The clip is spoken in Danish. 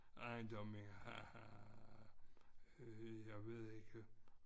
Ejendomme har øh jeg ved ikke